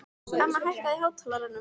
Emma, hækkaðu í hátalaranum.